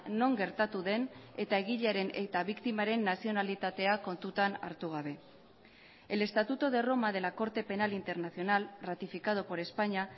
non gertatu den eta egilearen eta biktimaren nazionalitatea kontutan hartu gabe el estatuto de roma de la corte penal internacional ratificado por españa